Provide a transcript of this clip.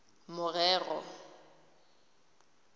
morero